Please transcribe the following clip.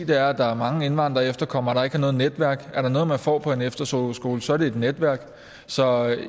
der er mange indvandrere og efterkommere der ikke har noget netværk er der noget man får på en efterskole så er det et netværk så